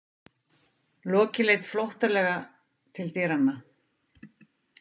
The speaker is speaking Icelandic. Loki leit flóttalega til dyranna.